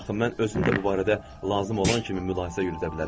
Axı mən özüm də bu barədə lazım olan kimi mülahizə yürüdə bilərəm.